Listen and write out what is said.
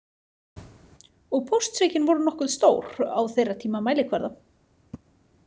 Og póstsvikin voru nokkuð stór á þeirra tíma mælikvarða.